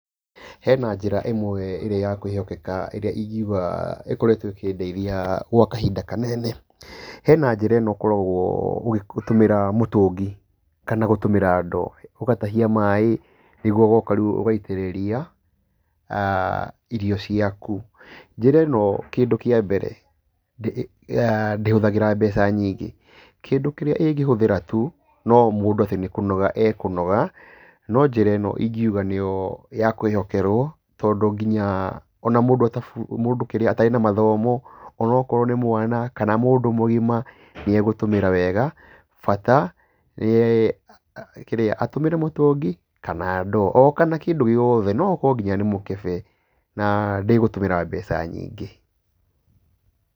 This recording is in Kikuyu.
Hena njĩra ĩmwe ĩrĩa ya kwĩhokeka, ĩrĩa ingiuga ĩkoretwo ĩkĩndeithia gwa kahinda kanene. Hena njĩra ĩno ũkoragwo ũgitũmĩra mũtũngi, kana gũtũumĩra ndoo, ũgatahia maĩĩ nĩguo ũgoka rĩũ ũgaitĩrĩria irio ciaku. Njĩra ĩno kĩndũ kĩa mbere, ndĩhũthagĩra mbeca nyingĩ. Kĩndũ kĩrĩa ĩngĩhũthĩra tu no mũndũ atĩ nĩ kũnoga ekũnoga, no njira ĩno ingiuga nĩyo ya kwĩhokerwo tondũ ngĩnya ona mũndũ atabu mũndũ kĩrĩa atarĩ na mathomo, ona akorwo nĩ mwana kana mũndũ mũgima nĩ egũtũmĩra wega bata nĩ kĩrĩa atũmĩre mũtũngi kana ndoo, o kana kĩndũ gĩothe, no okorwo nginya nĩ mũkebe na ndegũtũmĩra mbeca nyingĩ.